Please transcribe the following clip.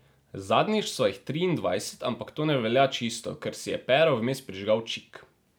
Zadnjič sva jih triindvajset, ampak to ne velja čisto, ker si je Pero vmes prižigal čik.